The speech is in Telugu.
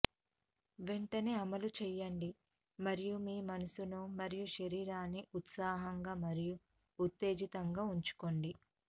వెంటనే అమలు చేయండి మరియు మీ మనసును మరియు శరీరాన్ని ఉత్సాహంగా మరియు ఉత్తేజితంగా ఉంచుకోండి